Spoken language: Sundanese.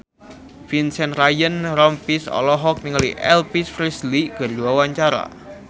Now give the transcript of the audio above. Vincent Ryan Rompies olohok ningali Elvis Presley keur diwawancara